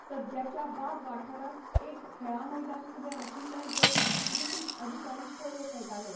सद्याच्या बाग वाठारांत एक खेळां मैदान उबें आशिल्लें जंय ब्रिटीश अधिकारी पोलो खेळटाले.